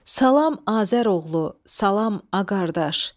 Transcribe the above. Salam Azəroğlu, salam Ağardaş.